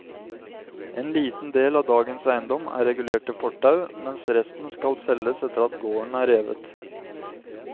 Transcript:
En liten del av dagens eiendom er regulert til fortau, mens resten skal selges etter at gården er revet.